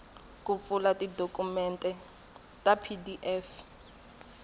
ku pfula tidokumende ta pdf